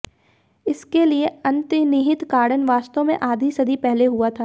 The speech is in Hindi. इस के लिए अंतर्निहित कारण वास्तव में आधी सदी पहले हुआ था